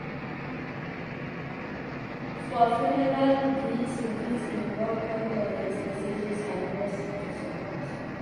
For funeral greeting fit involve condolence messages and words to support